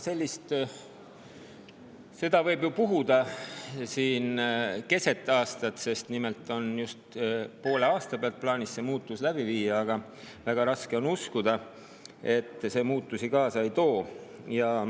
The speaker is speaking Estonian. Sellist võib ju siin keset aastat puhuda – nimelt on plaanis just poole aasta pealt see muudatus läbi viia –, aga väga raske on uskuda, et see muutusi kaasa ei too.